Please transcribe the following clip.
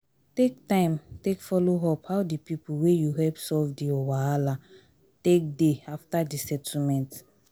take time take follow up how di pipo wey you help solve their wahala take dey after the settlement